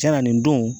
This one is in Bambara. Cɛn na nin don